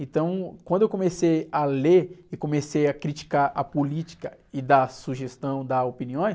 Então, quando eu comecei a ler e comecei a criticar a política e dar sugestão, dar opiniões,